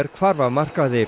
hvarf af markaði